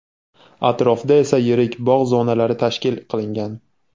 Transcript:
Atrofda esa yirik bog‘ zonalari tashkil qilingan.